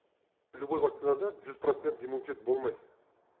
любой вакцинада жүз процент иммунитет болмайды